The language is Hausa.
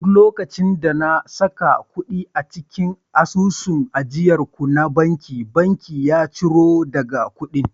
duk lokacin da na saka kudi a cikin asusun ajiyar ku na banki, bankin ya ciro daga kudin